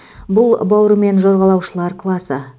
бұл бауырымен жорғалаушылар класы